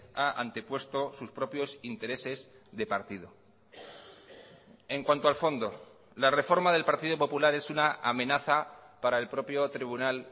ha antepuesto sus propios intereses de partido en cuanto al fondo la reforma del partido popular es una amenaza para el propio tribunal